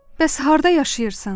Bəs harda yaşayırsan?